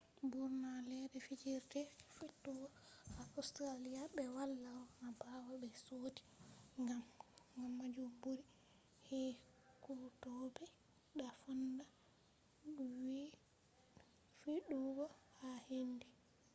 burna ledde fijirde fidugo ha australia be wala ronna bawo be sodi. gam majum buri ekkutobe ta fonda fidugo ha hendu